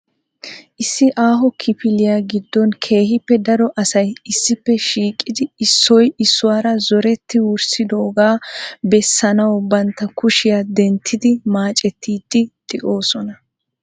Issi aaho kifiliya giddon keehippe daro asay issippe shiiqidi issoy issuwaara zoretti wurssidooga bessanaw bantta kushiyaa denttidi maaccettidi de'oosona .